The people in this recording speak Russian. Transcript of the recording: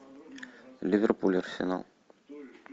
ливерпуль арсенал